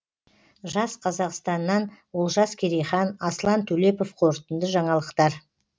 жас қазақстаннан олжас керейхан аслан төлепов қорытынды жаңалықтар